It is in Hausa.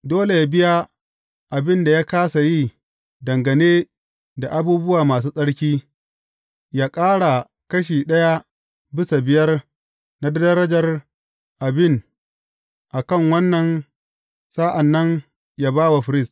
Dole yă biya abin da ya kāsa yi dangane da abubuwa masu tsarki, yă ƙara kashi ɗaya bisa biyar na darajar abin a kan wannan sa’an nan yă ba wa firist.